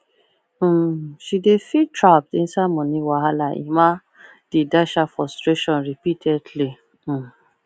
um she dey feel trapped inside moni wahala emma dey dash her frustration repeatedly um